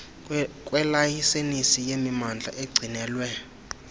kwelayisensi yemimandla egcinelwe